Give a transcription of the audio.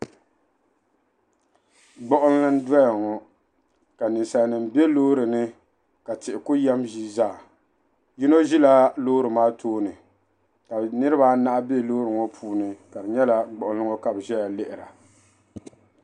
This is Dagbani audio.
Gbuɣinli n doya ŋɔ. ka nin salinima be lɔɔrinim yinɔ ʒila lɔɔri maa tooni, ka niribi anahi be lɔɔri maa puuni kadi nyala gbuɣinli ŋɔ ka bɛ ʒaya lihira.